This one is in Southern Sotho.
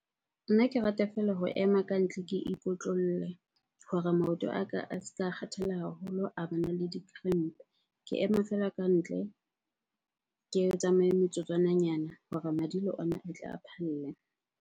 Nna ke rata feela ho ema ka ntle ke ikotlolle hore maoto a ka a ska kgathala haholo a bana le di-cramp-e. Ke ema feela ka ntle, ke tsamaye metsotswananyana hore madi le ona a tle a phalle.